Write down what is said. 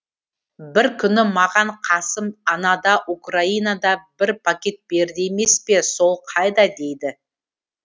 бір күні маған қасым анада украинада бір пакет берді емес пе сол қайда дейді